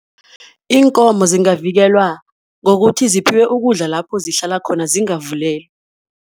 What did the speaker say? Iinkomo zingavikelwa ngokuthi ziphiwe ukudla lapho zihlala khona, zingavulelwa.